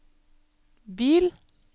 bil